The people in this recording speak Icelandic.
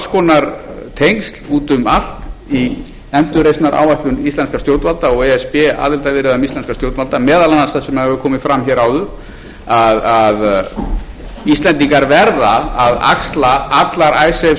konar tengsl úti um allt í endurreisnaráætlun íslenskra stjórnvalda og e s b aðilarviðræðum íslenskra stjórnvalda meðal annars það sem hefur komið fram hér áður að íslendingar verða að axla allar icesave skuldbindingarnar ef þeir eiga að fá aðgang að evrópusambandinu